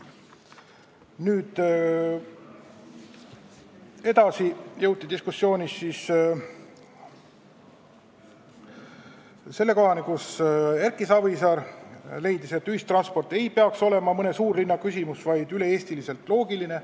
Edasi jõuti diskussiooniga selle kohani, kus Erki Savisaar leidis, et ühistransport ei peaks olema mõne suurlinna küsimus, vaid üle Eesti loogiline.